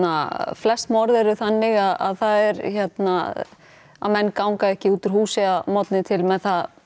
flest morð eru þannig að það menn ganga ekki út úr húsi að morgni til með